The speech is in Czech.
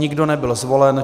Nikdo nebyl zvolen.